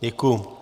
Děkuji.